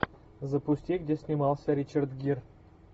запусти где снимался ричард гир